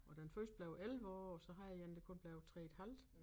Og den første blev 11 år og så havde jeg én der kun blev 3 et halvt